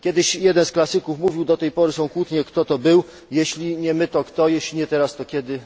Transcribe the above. Kiedyś jeden w klasyków mówił do tej pory są kłótnie, kto to był Jeśli nie my, to kto i jeśli nie teraz, to kiedy?.